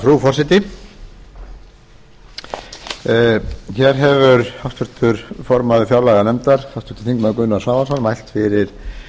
frú forseti hér hefur háttvirtur formaður fjárlaganefndar háttvirtir þingmenn gunnar svavarsson mælt fyrir